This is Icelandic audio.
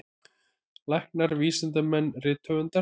Læknar, vísindamenn, rithöfundar.